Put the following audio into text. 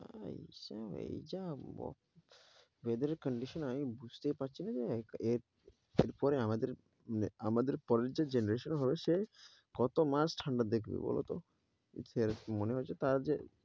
তাই তাই যা ব~ weather condition আমি বুঝতেই পারছিনা যে এর পরে আমাদের মানে আমাদের পরের যে generation হবে সে কত মাস ঠান্ডা দেখবে বলতো মনে হয়েছে তার যে~